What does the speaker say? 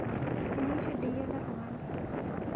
Meningisho dei ele tungani